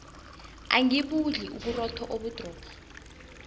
angibudli uburotho obudrorho